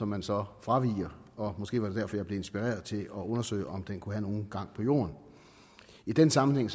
man så fraviger måske var det derfor jeg blev inspireret til at undersøge om den kunne have nogen gang på jord i den sammenhæng